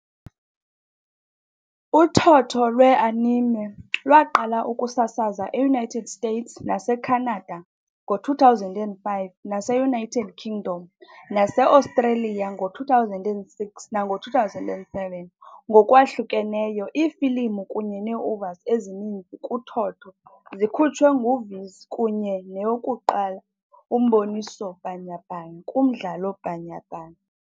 Uthotho lwe-anime lwaqala ukusasaza e-United States nase-Canada ngo-2005, nase-United Kingdom nase-Australia ngo-2006 nango-2007 ngokwahlukeneyo. Iifilimu kunye nee-OVAs ezininzi kuthotho zikhutshwe nguViz, kunye neyokuqala umboniso bhanyabhanya kumdlalo bhanyabhanya.